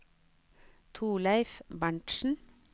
Torleiv Berntzen